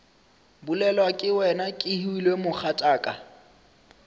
bolelwa ke wena kehwile mogatšaka